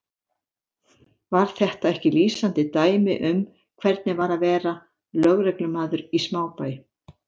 Var þetta ekki lýsandi dæmi um hvernig var að vera lögreglumaður í smábæ?